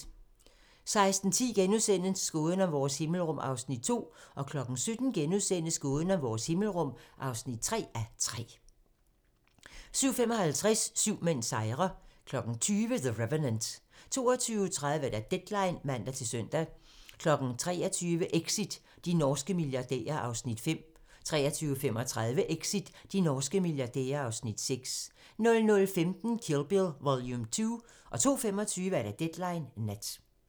16:10: Gåden om vores himmelrum (2:3)* 17:00: Gåden om vores himmelrum (3:3)* 17:55: Syv mænd sejrer 20:00: The Revenant 22:30: Deadline (man-søn) 23:00: Exit - de norske milliardærer (Afs. 5) 23:35: Exit - de norske milliardærer (Afs. 6) 00:15: Kill Bill Vol. 2 02:25: Deadline Nat